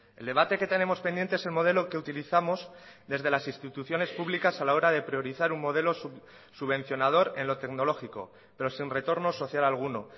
el debate que tenemos pendiente es el modelo que utilizamos desde las instituciones públicas a la hora de priorizar un modelo subvencionador en lo tecnológico pero sin retorno social alguno